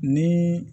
Ni